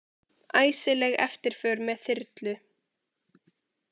Æsileg eftirför með þyrlu